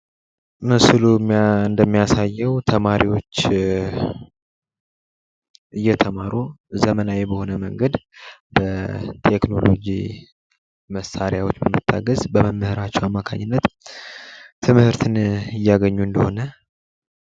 ምስሉ እንደሚያሳየው ተማሪወች እየተማሩ ዘመናዊ በሆነ መንገድ በቴክህኖሎጅ መሳሪያዎች በመታገዝ በመምህራቸው አማካኝነት ትምህርትን እያገኙ እንደሆነ::